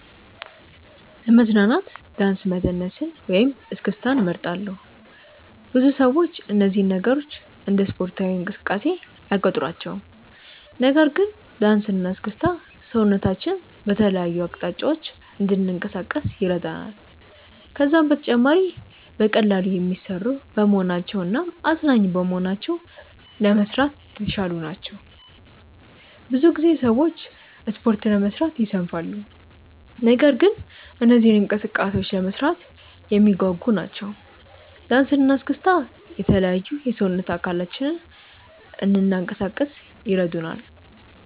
ለመዝናናት ዳንስ መደነስን ወይም እስክስታን እመርጣለሁ። ብዙ ሰዎች እነዚህን ነገሮች እንደ ስፖርታዊ እንቅስቃሴ አይቆጥሯቸውም። ነገር ግን ዳንስ እና እስክስታ ሰውነታችንን በተለያዩ አቅጣጫዎች እንድናንቀሳቅስ ይረዳናል። ከዛም በተጨማሪ በቀላሉ የሚሰሩ በመሆናቸው እናም አዝናኝ በመሆናቸው ለመስራት የተሻሉ ናቸው። ብዙ ጊዜ ሰዎች ስፖርት ለመስራት ይሰንፋሉ። ነገር ግን እነዚህ እንቅስቃሴዎች ለመስራት የሚያጓጉ ናቸው። ዳንሰ እና እስክስታ የተለያዩ የሰውነት አካላችንን እንናንቀሳቀስ ይረዱናል።